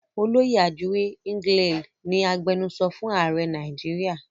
Olóyè Ajuri Ngelale ni agbenusọ fún ààrẹ Nàìjíríà.